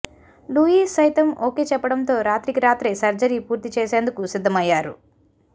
Louis సైతం okay చెప్పడంతో రాత్రికి రాత్రే సర్జరీ పూర్తి చేసేందుకు సిద్ధమయ్యారు